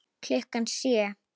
Klukkan sjö.